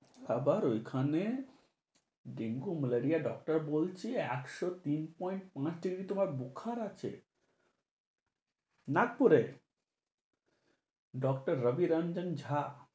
আবার ঐখানে dengue-malaria, doctor বলছে একশ তিন point তোমার বোখার আছে। নাগপুরে, doctor রবি রাঞ্জন জা।